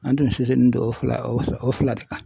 An tun sinsinnen don o fila o fila o fila de kan